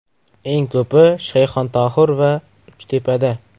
Eng ko‘p Shayxontohur va Uchtepada.